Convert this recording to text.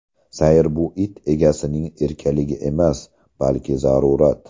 Sayr bu it egasining erkaligi emas, balki zarurat.